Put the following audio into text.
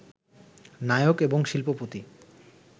নায়ক এবং শিল্পপতি